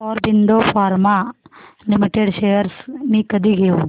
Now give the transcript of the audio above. Aurobindo pharma limited shares मी कधी घेऊ